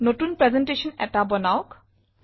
নতুন প্ৰেজেণ্টেশ্যন এটা বনাওক